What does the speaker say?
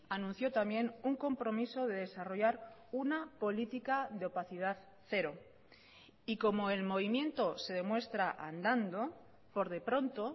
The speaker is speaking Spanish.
anunció también un compromiso de desarrollar una política de opacidad cero y como el movimiento se demuestra andando por de pronto